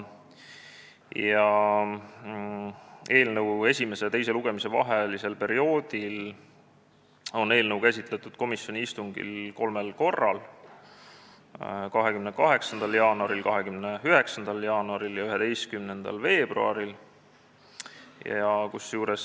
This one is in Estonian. Eelnõu esimese ja teise lugemise vahel on eelnõu käsitletud komisjoni istungil kolmel korral: 28. jaanuaril, 29. jaanuaril ja 11. veebruaril.